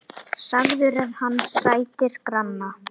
Sagður er hann sættir granna.